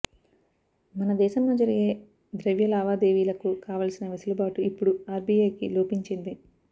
మన దేశంలో జరిగే ద్రవ్య లావాదేవీలకు కావాల్సిన వెసులుబాటు ఇప్పుడు ఆర్బీఐకి లోపించింది